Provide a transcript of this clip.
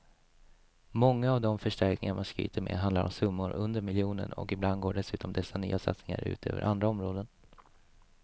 Många av de förstärkningar man skryter med handlar om summor under miljonen och ibland går dessutom dessa nya satsningar ut över andra områden.